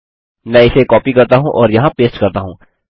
मैं इसे कॉपी करता हूँ और यहाँ पेस्ट करता हूँ